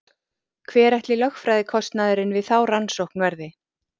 Hver ætli lögfræðikostnaðurinn við þá rannsókn verði?